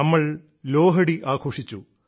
നമ്മൾ ലോഹഡി ആഘോഷിച്ചു